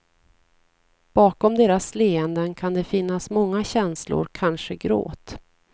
Bakom deras leenden kan det finnas många känslor, kanske gråt.